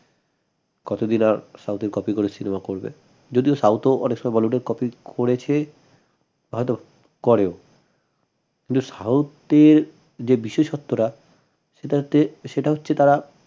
কতদিন আর south এর copy করে cinema করবে যদিও south ও অনেক সময় bollywood এর copy করেছে হয়ত করেও কিন্তু south এর যে বিশেষত্বরা সেটাতে সেটা হচ্ছে তারা